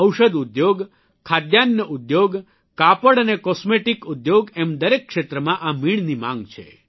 ઔષધ ઉદ્યોગ ખાધાન્ન ઉદ્યોગ કાપડ અને કોસ્મેટિકસ ઉદ્યોગ એમ દરેક જગ્યાએ આ મીણની માંગ છે